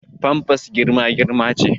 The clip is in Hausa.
Famfas girma girma ce